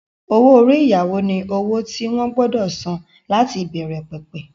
Owó-orí ìyàwó ni owó tí wọ́n gbọdọ̀ san láti ìbẹ̀rẹ̀ pẹ̀pẹ̀